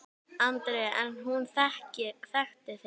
Andri: En hún þekkti þig?